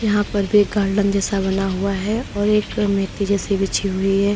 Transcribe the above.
यहां पर भी एक गार्डन जैसा बना हुआ है और एक मेटि जैसी बिछी हुई है।